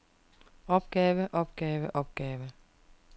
opgave opgave opgave